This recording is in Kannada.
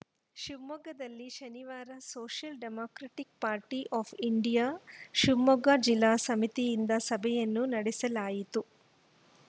ಶಿವಮೊಗ್ಗದಲ್ಲಿ ಶನಿವಾರ Social Democratic Party of India Shivamogga ಜಿಲ್ಲಾ ಸಮಿತಿಯಿಂದ ಸಭೆಯನ್ನು ನಡೆಸಲಾಯಿತು